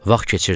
Vaxt keçirdi.